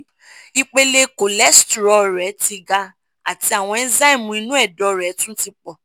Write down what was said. ipele cholestrol rẹ ti ga àti àwọn enzymu inú ẹdọ rẹ tún ti pọ̀